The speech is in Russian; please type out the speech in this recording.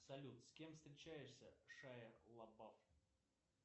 салют с кем встречаешься шайа лабаф